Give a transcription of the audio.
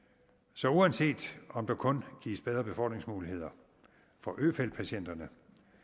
så uanset om der kun gives bedre befordringsmuligheder for øfeldtpatienterne